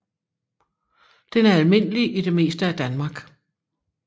Den er almindelig i det meste af Danmark